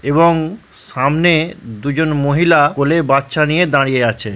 এবং সামনে দুজন মহিলা কোলে বাচ্চা নিয়ে দাঁড়িয়ে আছে।